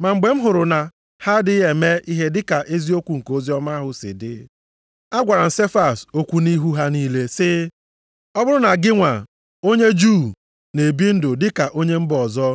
Ma mgbe m hụrụ na ha adịghị eme ihe dị ka eziokwu nke oziọma ahụ si dị, agwara m Sefas okwu nʼihu ha niile, sị, “Ọ bụrụ na gị nwa onye Juu na-ebi ndụ dịka onye mba ọzọ,